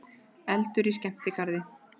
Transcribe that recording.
Eldur í skemmtigarði